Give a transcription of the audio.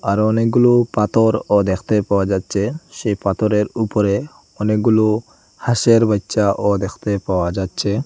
আর অনেকগুলো পাতরও দ্যাখতে পাওয়া যাচ্চে সেই পাথরের উপরে অনেকগুলো হাঁসের বাইচ্চা ও দেখতে পাওয়া যাচ্চে।